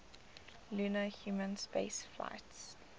lunar human spaceflights